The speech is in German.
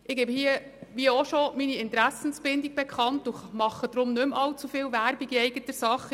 Ich gebe hier meine Interessenbindung bekannt und mache nicht mehr allzu viel Werbung in eigener Sache.